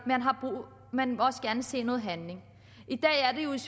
man må også gerne se noget handling